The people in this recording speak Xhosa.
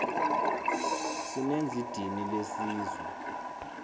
sinenz idini lesizwe